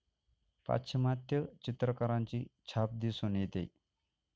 पाश्चिमात्य चित्रकारांची छाप दिसून येते